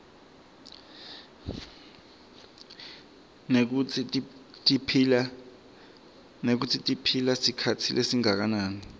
nekutsi tiphila sikhatsi lesinganani